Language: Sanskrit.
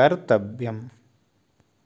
कर्तव्यम्